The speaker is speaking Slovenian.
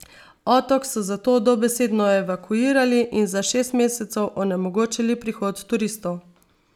Otok so zato dobesedno evakuirali in za šest mesecev onemogočili prihod turistov.